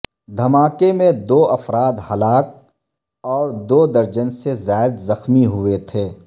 دھماکے میں دو افراد ہلاک اور دو درجن سے زائد زخمی ہوئے تھے